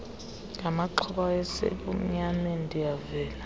ngamaxhoba ayesesebumnyameni ndiyavelana